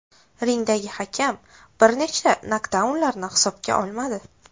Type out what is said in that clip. Ringdagi hakam bir nechta nokdaunlarni hisobga olmadi.